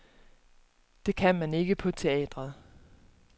Det kan man ikke på teatret.